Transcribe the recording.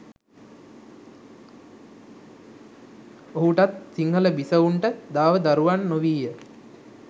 ඔහුටත් සිංහල බිසවුන්ට දාව දරුවන් නොවීය.